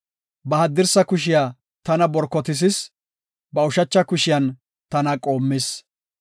Ba haddirsa kushiya tana borkotisis; ba ushacha kushiyan tana qoommis.